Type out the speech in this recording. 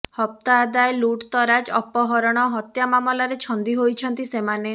ହପ୍ତା ଆଦାୟ ଲୁଟ୍ ତରାଜ୍ ଅପହରଣ ହତ୍ୟା ମାମଲାରେ ଛନ୍ଦି ହୋଇଛନ୍ତି ସେମାନେ